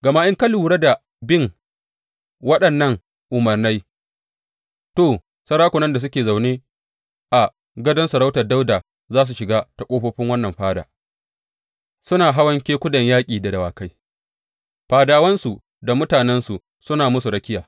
Gama in ka lura da bin waɗannan umarnai, to, sarakunan da suke zaune a gadon sarautar Dawuda za su shiga ta ƙofofin wannan fada, suna hawan kekunan yaƙi da dawakai, fadawansu da mutanensu suna musu rakiya.